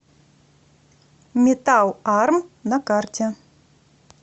металл арм на карте